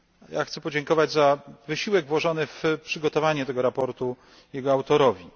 Ja chcę podziękować za wysiłek włożony w przygotowanie tego sprawozdania jego autorowi.